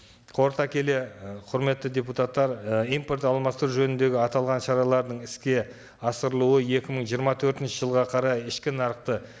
қорыта келе ы құрметті депутаттар і импорт алмастыру жөніндегі аталған шараларын іске асырылуы екі мың жиырма төртінші жылға қарай ішкі нарықты